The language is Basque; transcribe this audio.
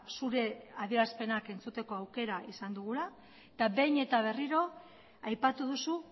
zure adierazpenak entzuteko aukera izan dugula eta behin eta berriro aipatu duzu